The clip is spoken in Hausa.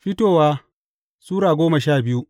Fitowa Sura goma sha biyu